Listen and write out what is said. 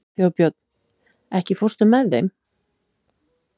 Þjóðbjörn, ekki fórstu með þeim?